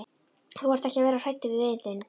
Þú þarft ekki að vera hræddur við vin þinn.